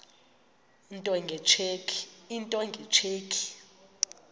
into nge tsheki